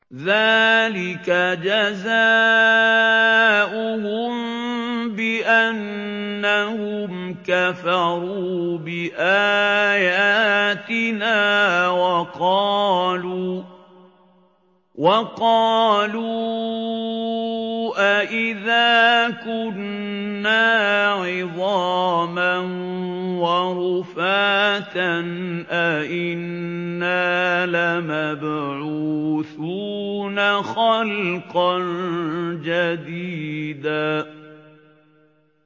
ذَٰلِكَ جَزَاؤُهُم بِأَنَّهُمْ كَفَرُوا بِآيَاتِنَا وَقَالُوا أَإِذَا كُنَّا عِظَامًا وَرُفَاتًا أَإِنَّا لَمَبْعُوثُونَ خَلْقًا جَدِيدًا